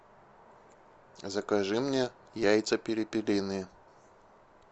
закажи мне яйца перепелиные